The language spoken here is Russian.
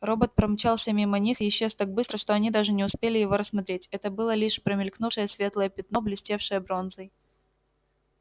робот промчался мимо них и исчез так быстро что они даже не успели его рассмотреть это было лишь промелькнувшее светлое пятно блестевшее бронзой